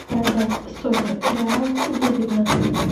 продать сотню реалов выгодно